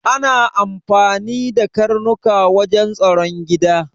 Ana amfani da karnuka wajen tsaron gida